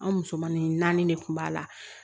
An musomannin naani de kun b'a la